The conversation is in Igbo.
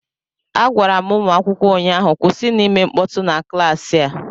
Agwara m ụmụ akwụkwọ ụnyahụ, kwụsịnụ ịme mkpọtụ na klaasị a!